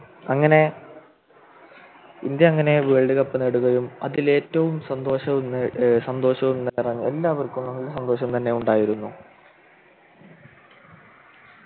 അങ്ങനെ ഇന്ത്യ അങ്ങനെ Worldcup നേടുകയും അതിൽ ഏറ്റവും സന്തോഷവും ഏർ സന്തോഷവും നിറഞ്ഞ എല്ലാവർക്കും സന്തോഷം തന്നെയാണ് ഉണ്ടായിരുന്നു